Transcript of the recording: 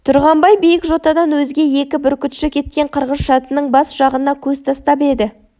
тұрғанбай биік жотадан өзге екі бүркітші кеткен қырғыз-шатының бас жағына көз тастап еді